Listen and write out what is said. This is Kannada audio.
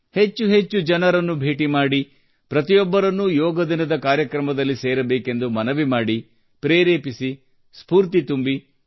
ಹೆಚ್ಚು ಹೆಚ್ಚು ಜನರನ್ನು ಭೇಟಿ ಮಾಡಿ ಪ್ರತಿಯೊಬ್ಬರನ್ನೂ ಯೋಗ ದಿನದ ಕಾರ್ಯಕ್ರಮದಲ್ಲಿ ಸೇರಬೇಕೆಂದು ಮನವಿ ಮಾಡಿ ಪ್ರೇರೇಪಿಸಿ ಸ್ಫೂರ್ತಿ ತುಂಬಿ